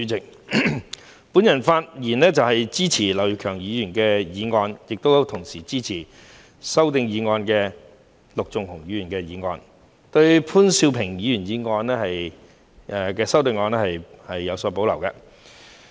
主席，我發言支持劉業強議員的議案，同時支持陸頌雄議員提出的修正案，對於潘兆平議員的修正案則有所保留。